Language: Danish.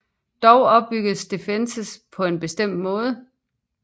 Dog opbygges defense på en bestemt måde